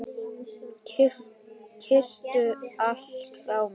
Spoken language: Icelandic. Kysstu alla frá mér.